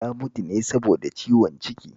Ya mutu ne saboda ciwon ciki